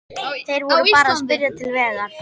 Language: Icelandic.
Þeir voru bara að spyrja til vegar.